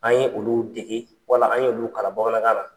An ye olu dege , wala an ye kalan bamanankan na.